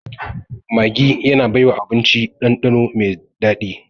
Maggi tana baiwa abinci ɗanɗano mai daɗi